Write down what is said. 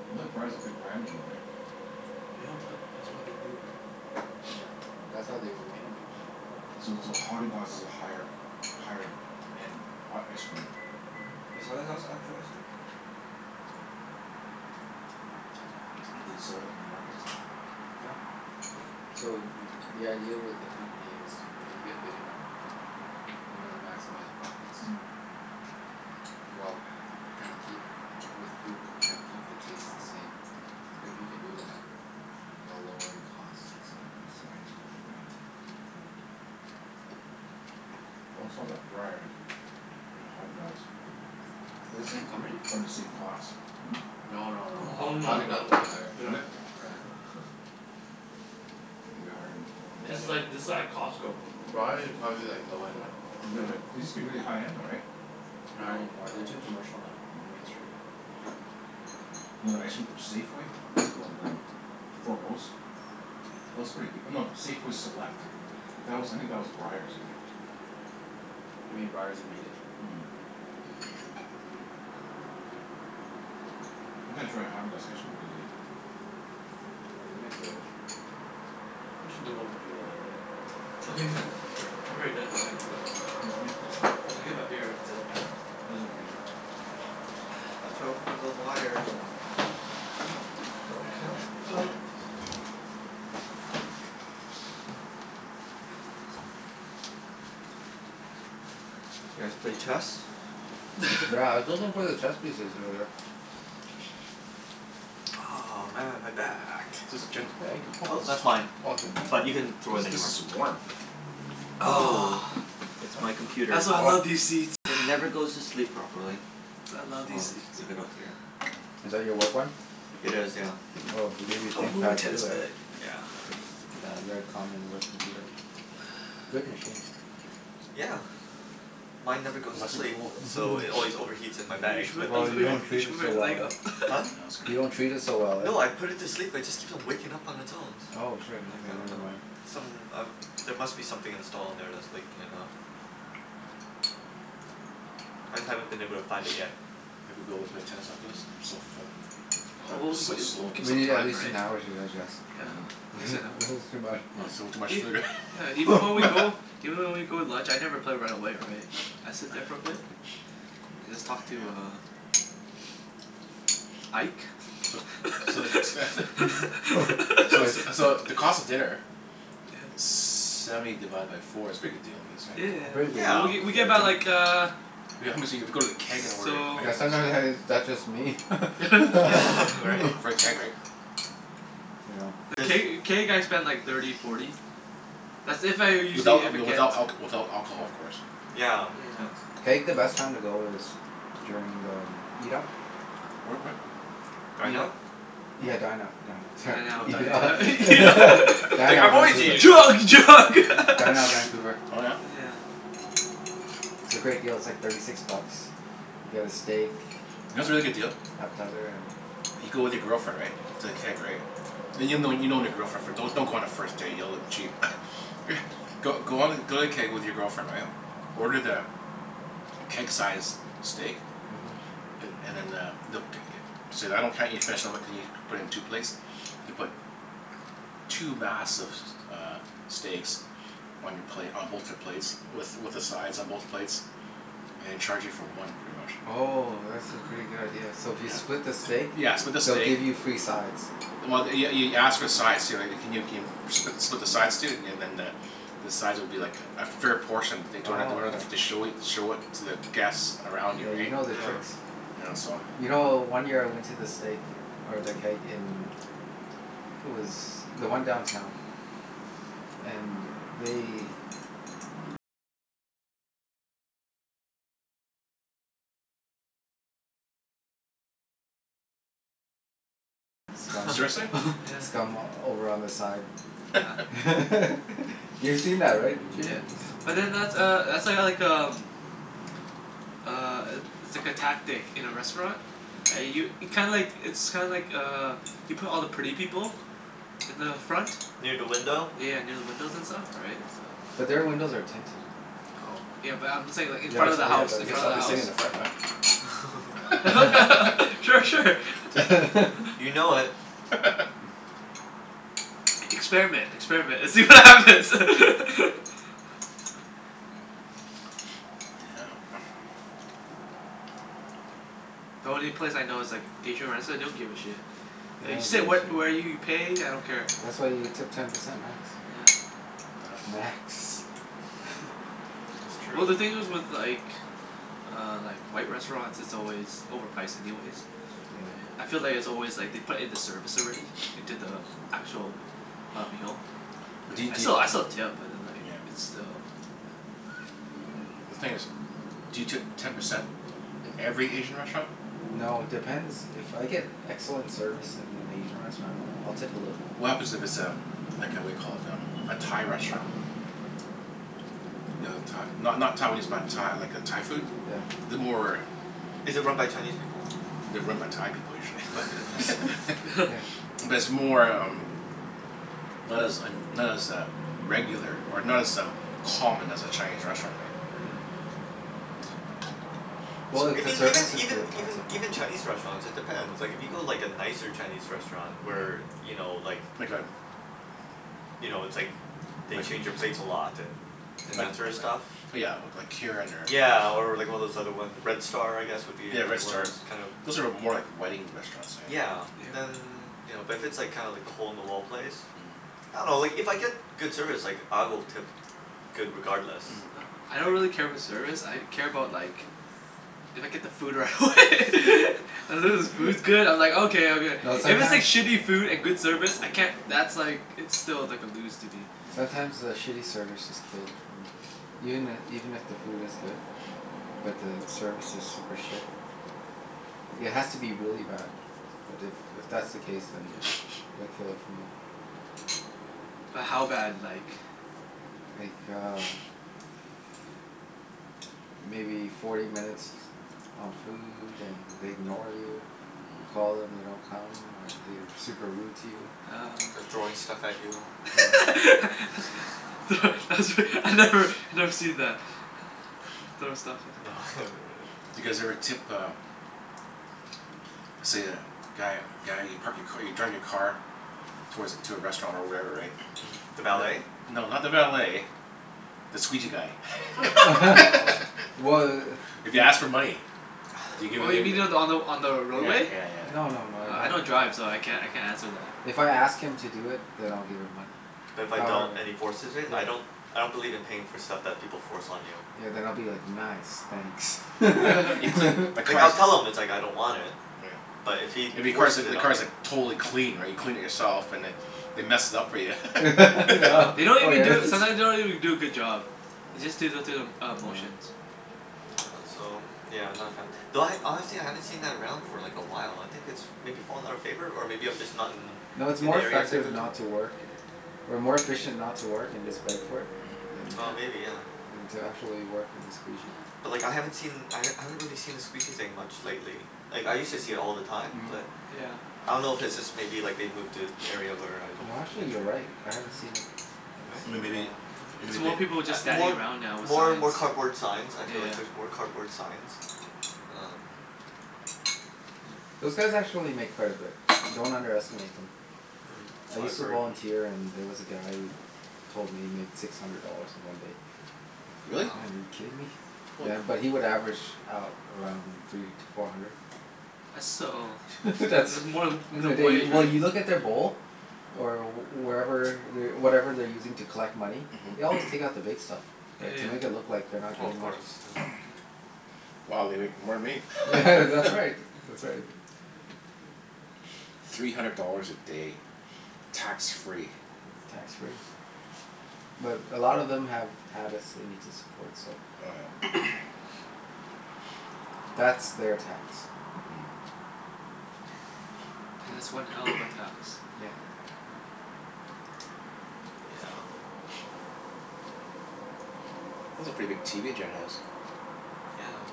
I thought Breyers is a big brand name though, right? Yeah, but that's why they do, right? Yeah, that's how they remain a big brand name. So so Häagen-Dazs is a higher higher end ha- ice cream then? Mhm. Is Häagen-Dazs actual ice cream? Do they sell it in the markets? Yeah. So the idea with a company is when you get big enough you wanna maximize profits. Mm. Well, trying to keep, with food, trying to keep the taste the same. If you can do that while lowering costs Yeah, that's the ideal thing, right? Always thought that Breyers and Häagen-Dazs Are the same company? are in the same class. No no no. Oh, no Häagen-Dazs No? is no. way higher. Yeah. Is it? Yeah. Way higher than, oh I This yeah. is didn't like, this know is that like about Costco. Breyers is probably like low Yeah, end. Is it really? It yeah. used to be Yeah. really high-end though, right? Not any No, more. no. They're too commercial now and mainstream. Mm. You know that ice cream from Safeway? What's it called, um Foremost? That was pretty goo- no, Safeway Select. That was I think that was Breyers, I think. You mean Breyers made it? Mhm. I gotta try Häagen-Dazs ice cream one of these days. Oh, they make good ice cream. We should move over to the living room. Oh. Oh yeah. Sure. I've already done mine anyway. Well, let me put this in Let me there get my beer, that's it. Put this in the freezer. Watch out for the l- wires and The Oh cup? towel, Oh. put Mm. it over here. You guys play chess? Yeah, I was looking for the chess pieces earlier. Oh, man, my back. Is this Jen's bag? Woah, Oh, this is that's mine. Oh, is it? But you can throw What it is, this anywhere. is warm? Oh, Ah, it's Huh? my computer. that's why I Oh. love these seats. It never goes to sleep properly. That's why I love So these I'll just seats uh leave it out here. Oh. Is that your work one? It is, yeah. Oh, they give you I'll move my Thinkpads tennis too, eh? bag Yeah. Yeah, very common work computer. Good machines. Yeah. Mine never goes to Nice and sleep cool. so Mhm. it always overheats in my You bag, should put, but you Oh, that's should put, you okay. don't you treat should it put so your well, leg eh? up. Huh? No, it's You don't okay. treat it so well, eh? No, I put it to sleep. It just keeps waking up on its own. Oh, shit. Like, Okay, I never dunno mind. Some, um there must be something installed on there that's waking it up. I haven't been able to find it yet. Think we'll be able to play tennis after this? I'm so full. Probably O- be oh but so th- I- we'll slow. give We some need at time, least an right? hour to digest. Yeah, Mm. at least an This is hour. too much. Oh, it's a little too Yeah, much ev- food, yeah, even when we go eh? even when we go to lunch, I never play right away, right? I sit there for a bit and just talk to Can I uh uh Ike. C- so the c- t- So Ike. it's so the cost of dinner Yeah. Seventy divided by four. It's a pretty good deal I guess, Yeah yeah right? Very yeah. good W- deal. Yeah. w- we get Very buy good Yeah. like de- uh We how much eat if we go to the Keg and order i- So Yeah sometime steak has that's just me. Right? For the Keg, right? Yeah. Th- Does can't y- can't you guys spend like thirty, forty? That's if I owe usually, Without if I w- get without alc- without alcohol Yeah. of course. Yeah, Yeah. that's Keg, the best time to go is during the m- Eat Up. Where at when? Dine Eat Out? up. Hmm? Yeah, Dine out, Dine Out. Sorry. Dine Oh, Out, Dine Eat Up. yeah yeah Out, You yeah. don- right. Dine like, Out "I'm always Vancouver. eating out." Drug! Drug! Mm, Dine Out Vancouver. Oh yeah? Yeah. It's a great deal. It's like thirty six bucks. You get a steak, You know what's a really good deal? uh, appetizer and You go with your girlfriend, right? To the Mm. Keg, right? And you'll know you've known your girlfriend for don- don't go on a first date. You'll look cheap. Go go on th- go to the Keg with your girlfriend, right? Order the keg-sized steak. Mhm. A- and then uh, they'll c- e- Say I don't can't eat finish, and I'm like can ye- put it in two plates? They put two massive s- uh steaks on your plate, on both your plates with with the sides on both plates. And they charge you for one, pretty much. Oh, that's a pretty good Oh. idea. So if you Yeah. split the steak Yeah, split the they'll steak give you free sides. Well th- y- y- you ask for the sides too, right? Can you keen- spli- split the sides too, and and then the the sides will be like a fair portion they don't Oh, don't have okay. to show it show it to the guests around you, Yeah, you right? know their Yeah. tricks. Yeah. Yeah, so You know, Yeah. one year I went to the steak or the Keg in it was the one downtown. And they Huh. scum Seriously? Yeah. scum over on the side. Yeah. You've seen that, right Jimmy? Yeah. But then that's uh that's uh like um uh, i- it's like a tactic in a restaurant. I Yeah. u- kinda like, it's kinda like uh you put all the pretty people in the front. Near da window? Yeah, near the windows and stuff, right? So But their windows are tinted and Oh. Yeah, but I'm saying like in I Yeah, front guess of the oh yeah, house. I In that's guess right front I'll of the be sitting house. in the front then. Yeah. Sure. Sure. You know it. Experiment. Experiment, and see what Mm. happens. Yeah. The only place I know is like Asian restr- they don't give a shit. Yeah, they You don't sit give a wh- shit. where you pay, I don't Yeah, care. that's why you tip Yeah. ten percent max, right? Yeah. Not Max. Yeah. That's Well true. the thing is with like uh like, white restaurants, it's always overpriced anyways. Yeah. Yeah. I feel like it's always like they put in the service already into the actual uh, meal. But do Right? y- I do still I y- still tip, but then like Yeah. it's still, yeah. The thing is, do you tip ten percent in every Asian restaurant? No, it depends. If I get excellent service in an Asian restaurant I'll tip a little bit What more. happens it it's Yeah. a like a whaddya call it? Um, a Thai restaurant? You know, Thai not not Taiwanese, but Tha- like uh Thai food? Yeah. The more Is it run by Chinese people? They're run by Thai people, usually but Yeah. But it's more um not as un- not as uh regular, or not as um, common as a Chinese restaurant, right? Mhm. Well, So if the Even even service is even good I'll even tip more. even Chinese restaurants, it depends. Like if you go like Yeah. a nicer Chinese restaurant where, Mhm. you know, like Like a you know, it's like they like change your plates a lot and and Like that Yeah. sorta stuff? li- yeah, we- like Kirin or Yeah, or like one of those other one, Red Star I guess would be Yeah, Red another one of Star. those kinda Those are more like wedding restaurants, I think. Yeah, Yeah. then you know, but if it's kinda like the hole in the wall place. Mhm. I dunno, like if I get good service like I will tip good regardless. Yeah. I don't Like really care about service, I care about like if I get the food right Mm. away. As long Mm. as the food's good, I'm like okay, okay. No, If it's like sometimes shitty food and good service, I can't that's like, it's still like a lose to me. sometimes the Mm. shitty service just kills it for me. Even i- even if the food is good but the service is super shit. Mm. It has to be really bad. But if if that's the case then Yeah. it'd kill it for me. But how bad, like? Like uh maybe forty minutes on food and they ignore you. You call them, they don't come. Or they're super rude to you. Oh. They're throwing stuff at you. Yeah. Mm. Thro- that's re- I've never, I've never seen that. Throw stuff off No, I haven't really. Do you guys ever tip uh let's say a guy guy you park your ca- you drive your car towards a, to a restaurant or wherever, right? Mm. The valet? And No, not the valet the squeegee guy. Oh. Wh- If he i- asks for money? Do you give Oh it y- you mean y- the, on the on the Yeah roadway? yeah yeah yeah. No no no, I Oh, I don't don't drive so I can't I can't answer that. If I ask him to do it then I'll give him money. But if I don't However Yeah. and he forces it? Yeah. I don't I don't believe in paying for stuff that people force on you. Yeah, then I'll be like, "Nice, thanks." Right. You've clea- my Like I'll car's tell him it's like I don't want it. Yeah. But if he If your car's forces like, it the on me car's like totally clean right? You cleaned it yourself and then they mess it up for ya. Yeah. Yeah. They don't even do a, sometimes they don't even do a good job. They just do the through the uh Yeah. motions. Yeah, so I'm yeah, I'm not a fan. Mm. Though I, honestly I haven't seen that around for like a while. I think it's maybe fallen out of favor? Or maybe I'm just not in No, it's in more the areas I effective go to? not to work or more efficient not to work and just beg for it, yeah than Oh, Yeah. maybe, yeah. than to actually work and squeegee. Yeah. But like I haven't seen I Mhm. h- I haven't really seen the squeegee thing much lately. Like, I used to see it all the time, but Yeah. Yeah. I don't know if it's just maybe like they've moved to Mhm. area where I don't No actually, you're venture. right. I haven't seen Yeah. it. I haven't Right? seen Then it in a maybe, while. Yeah. It's maybe they more people A just standing more around now with more signs. more cardboard signs. I Yeah feel yeah like yeah. there's more cardboard signs. Um Yeah. Those guys actually make quite a bit. Don't underestimate them. Mm, I Mm. so I've used Mm. to heard. volunteer and there was a guy who told me he made six hundred dollars in one day. Like, oh Really? Wow. man, are you kidding me? Holy. Yeah, but he would average out around three to four hundred. That's still, it's That's it's more than that's in a minimum day. wage, Well, right? you look in their bowl or wherever whatever they're using to collect money. They always take out the Mm. big stuff, Yeah right? yeah To make it look yeah. like they're not Oh, of getting much. course. Yeah. Yeah. Mhm. Wow, they make more than me. Yeah, Yeah. that's right. That's right. Three hundred dollars a day. Tax free. Tax free. But a lot of them have habits they need to support, so Oh yeah. that's Yeah. their tax. Mm. And Hmm. that's one hell of a tax. Yeah. Oh. Yeah. That's a pretty big TV Jen has. Yeah.